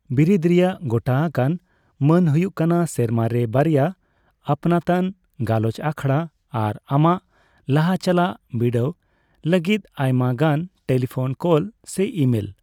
ᱵᱤᱨᱤᱫ ᱨᱮᱭᱟᱜ ᱜᱚᱴᱟ ᱟᱠᱟᱱ ᱢᱟᱹᱱ ᱦᱩᱭᱩᱜ ᱠᱟᱱᱟ ᱥᱮᱨᱢᱟ ᱨᱮ ᱵᱟᱨᱭᱟ ᱟᱹᱯᱱᱟᱹᱛᱟᱱ ᱜᱟᱞᱚᱪ ᱟᱠᱷᱚᱲᱟ ᱟᱨ ᱟᱢᱟᱜ ᱞᱟᱦᱟᱪᱟᱞᱟᱜ ᱵᱤᱰᱟᱹᱣ ᱞᱟᱹᱜᱤᱫ ᱟᱭᱢᱟ ᱜᱟᱱ ᱴᱮᱞᱤᱯᱷᱳᱱ ᱠᱚᱞ ᱥᱮ ᱤᱢᱮᱞ ᱾